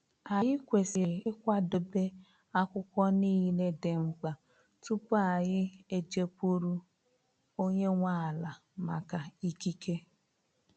Anyị kwesịrị ịkwadebe akwụkwọ niile dị mkpa tupu anyị eje kwuru onye nwe ala maka ikike.